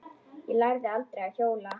Ég lærði aldrei að hjóla.